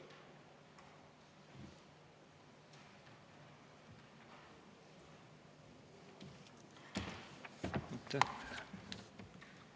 Aitäh!